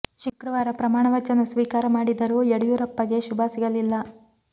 ಶುಕ್ರವಾರ ಪ್ರಮಾಣ ವಚನ ಸ್ವೀಕಾರ ಮಾಡಿದರೂ ಯಡಿಯೂರಪ್ಪ ಗೆ ಶುಭ ಸಿಗಲಿಲ್ಲ